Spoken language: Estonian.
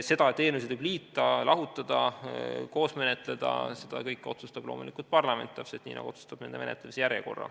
Seda, et eelnõusid võib liita ja lahutada, koos menetleda, otsustab loomulikult parlament, täpselt nii nagu ta otsustab nende menetlemise järjekorra.